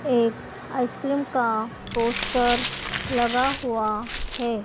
एक आइसक्रीम का पोस्टर लगा हुआ हैं।